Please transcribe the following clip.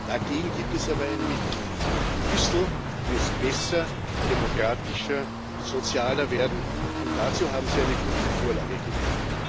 Dagegen gibt es aber ein Mittel Brüssel muss besser, demokratischer und sozialer werden, und dazu haben sie eine gute Vorlage geliefert.